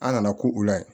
An nana ko u la ye